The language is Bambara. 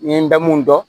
N ye n da mun dɔn